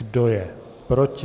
Kdo je proti?